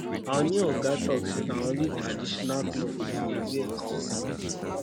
our new oga talk say na only traditional cloth we go dey wear come work